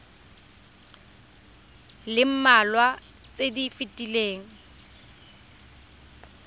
le mmalwa tse di fetileng